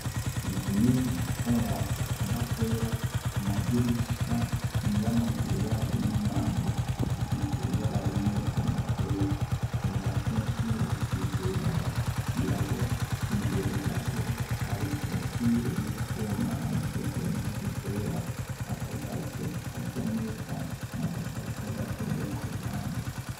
Inzu nini ifise amabati agomba kwera ku madirisha iy'amagiri yaje n'imyango hasize ibara rimwe rigomba kwera ku masentire hasize ibara ry'irabura imbere gato hari korotire y'utwuma hanikiyeko impunzu zera, akagazo gasa neza n'agasaka gatoya ku ruhande.